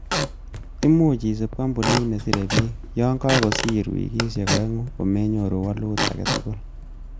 Imuche isib kompunit nesire biik, yon kosir wikisiek oeng'u komenyoru woluut agetugul.